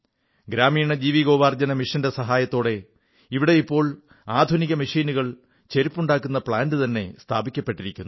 ഗ്രാമീണ ജീവനോപാധി മിഷന്റെ സഹായത്തോടെ ഇവിടെയിപ്പോൾ ആധുനിക മെഷീനുകൾ ചെരുപ്പുണ്ടാക്കുന്ന പ്ലാന്റ് തന്നെ സ്ഥാപിക്കപ്പെട്ടിരിക്കുന്നു